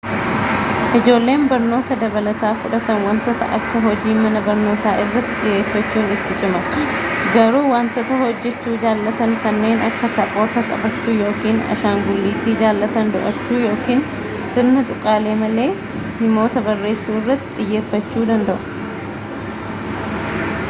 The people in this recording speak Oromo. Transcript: ijoolleen barnoota dabalataa fudhatan wantoota akka hojii mana barnootafa irratti xiyyeeffachuun itti cima garuu wantoota hojjechuu jaallatan kanneen akka taphoota taphachuu yookiin ashangulliitii jaallatan do'achuu yookiin sirna tuqaalee malee himoota barreessuu irratti xiyyeeffachuu danda'u